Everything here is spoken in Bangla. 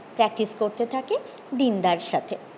practice করতে থাকে দিন দার সাথে